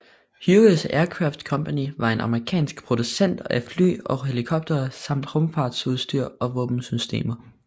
Hughes Aircraft Company var en amerikansk producent af fly og helikoptere samt rumfartsudstyr og våbensystemer